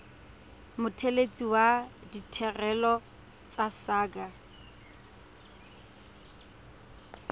mothelesi wa ditirelo tsa saqa